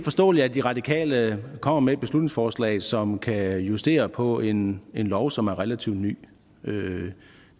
forståeligt at de radikale kommer med et beslutningsforslag som kan justere på en lov som er relativt ny